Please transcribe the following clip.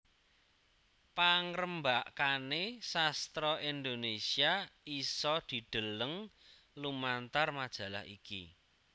Pangrembakane sastra Indonesia isa didheleng lumantar majalah iki